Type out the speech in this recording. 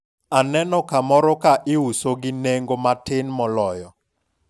aneno kamoro ka iuso gi nengo matin moloyo